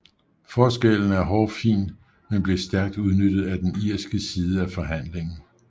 Forskellen er hårfin men blev stærkt udnyttet af den irske side af forhandlingen